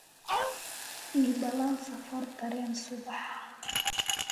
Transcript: ii ballan safar tareen subax